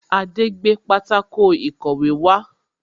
Adé gbé pátákó ìkọ̀wé wá